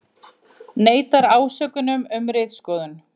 Neitar ásökunum um ritskoðun